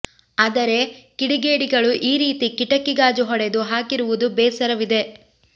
ಆದರೆ ಕಿಡಿಗೇಡಿಗಳು ಈ ರೀತಿ ಕಿಟಕಿ ಗಾಜು ಹೊಡೆದು ಹಾಕಿರುವುದು ಬೇಸರವಿದೆ